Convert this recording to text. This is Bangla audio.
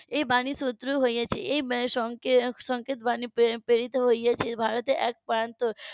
এই বাণী . এই সংকেত বাণী প্রেরিত হয়েছে ভারতের এক প্রান্ত